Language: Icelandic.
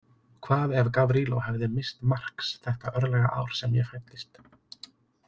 Hvað ef Gavrilo hefði misst marks þetta örlagaár sem ég fæddist?